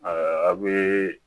a bɛ